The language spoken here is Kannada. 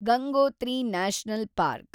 Gangotri national park